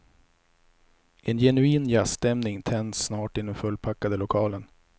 En genuin jazzstämning tänds snart i den fullpackade lokalen.